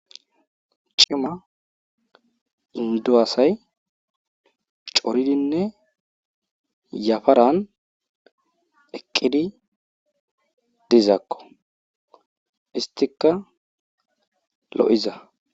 Cima inddo asay coridinne yafaran eqqidi dizakko isttikka lo'iza.